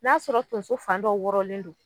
N'a sɔrɔ tonso fan dɔ wɔrɔnlen don